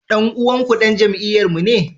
Dan uwanku dan jam'iyyarmu ne?